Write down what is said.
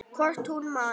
Hvort hún man!